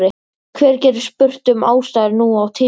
Hver getur spurt um ástæður nú á tímum?